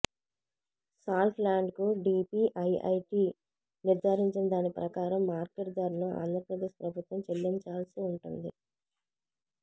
salt లాండ్కు DPIIT నిర్ధారించిన దాని ప్రకారం మార్కెట్ ధరను ఆంధ్ర ప్రదేశ్ ప్రభుత్వం చెల్లించాల్సి ఉంటుంది